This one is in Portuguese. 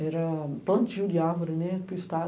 Era plantio de árvore, né, para o estado.